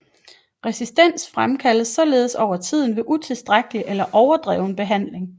Resistens fremkaldes således over tiden ved utilstrækkelig eller overdreven behandling